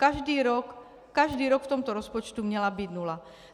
Každý rok, každý rok v tomto rozpočtu měla být nula.